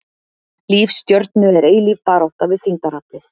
Líf stjörnu er eilíf barátta við þyngdaraflið.